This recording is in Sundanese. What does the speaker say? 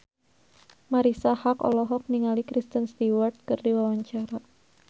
Marisa Haque olohok ningali Kristen Stewart keur diwawancara